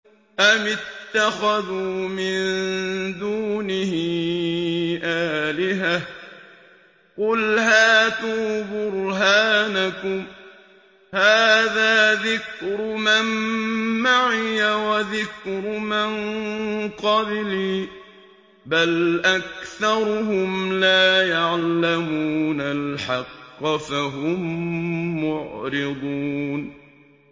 أَمِ اتَّخَذُوا مِن دُونِهِ آلِهَةً ۖ قُلْ هَاتُوا بُرْهَانَكُمْ ۖ هَٰذَا ذِكْرُ مَن مَّعِيَ وَذِكْرُ مَن قَبْلِي ۗ بَلْ أَكْثَرُهُمْ لَا يَعْلَمُونَ الْحَقَّ ۖ فَهُم مُّعْرِضُونَ